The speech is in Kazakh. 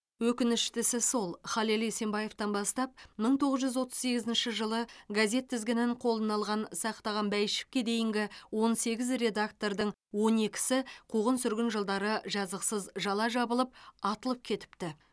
өкініштісі сол халел есенбаевтан бастап мың тоғыз жүз отыз сегізінші жылы газет тізгінін қолына алған сақтаған бәйішевке дейінгі он сегіз редактордың он екісі қуғын сүргін жылдары жазықсыз жала жабылып атылып кетіпті